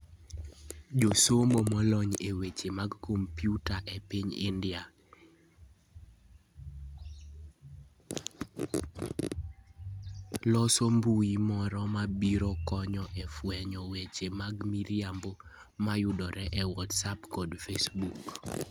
Josomo molony e weche mag kompyuta e piny India losombui moro ma biro konyo e fwenyo weche mag miriambo mayudore e Whatsapp kod Facebook.